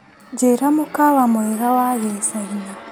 Njĩra mũkawa mwega wa Gĩcaina.